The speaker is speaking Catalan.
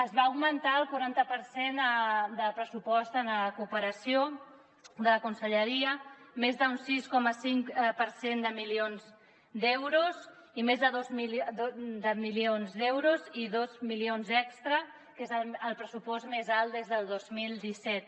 es va augmentar el quaranta per cent del pressupost en cooperació de la conselleria més d’un sis coma cinc per cent de milions d’euros i dos milions extres que és el pressupost més alt des del dos mil disset